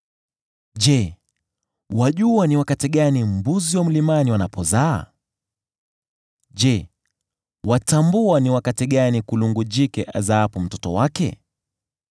“Je, wajua ni wakati gani mbuzi wa mlimani wanapozaa? Je, watambua ni wakati gani kulungu jike azaapo mtoto wake?